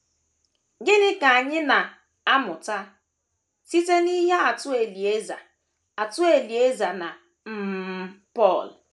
Gịnị ka anyị na - amụta site n’ihe atụ Elieza atụ Elieza na um Pọl?